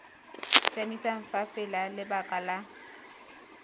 siameng fa fela lebaka la